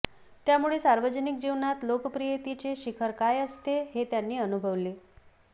त्यामुळे सार्वजनिक जीवनात लोकप्रियतेचे शिखर काय असते हे त्यांनी अनुभवले